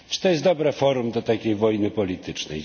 Czy to jest dobre forum do takiej wojny politycznej?